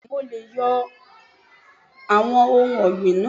Bẹ́ẹ̀ni mo leè yo àwon ohun ògbìn náà